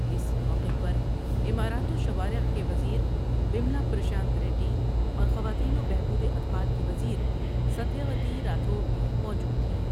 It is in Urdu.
اس موقع پر عمارات وشوارع کے وز یر و یملا پرشانت ریڈی اور خواتین و بهبوداطفال کی وز یریستیہ وتی راتھوڑ بھی موجود تھیں ۔